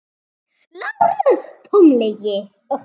LÁRUS: Tóm lygi!